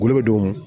Golo be don